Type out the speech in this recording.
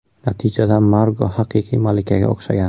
Natijada Margo haqiqiy malikaga o‘xshagan.